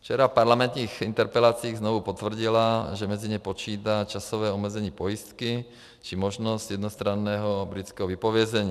Včera v parlamentních interpelacích znovu potvrdila, že mezi ně počítá časové omezení pojistky či možnost jednostranného britského vypovězení.